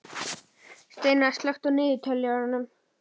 Steinar, slökktu á niðurteljaranum.